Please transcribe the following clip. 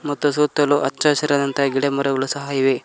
ಮತ್ತು ಸುತ್ತಲೂ ಹಚ್ಚ ಹಸಿರಾದಂತ ಗಿಡ ಮರಗಳು ಸಹ ಇವೆ.